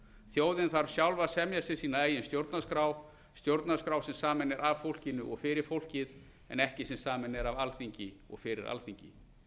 þjóðin þarf sjálf að semja sér sína eigin stjórnarskrá stjórnarskrá sem samin er af fólkinu og fyrir fólkið en ekki sem samin er af alþingi og fyrir alþingi